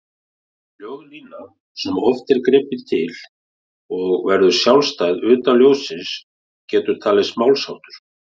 Ljóðlína, sem oft er gripið til, og verður sjálfstæð utan ljóðsins getur talist málsháttur.